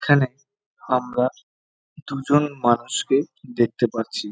এখানে আমরা দুজন মানুষকে দেখতে পাচ্ছি।